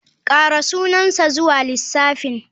Ƙara sunansa zuwa lissafin.